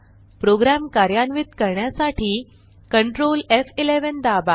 program कार्यान्वित करण्यासाठी control एफ11 दाबा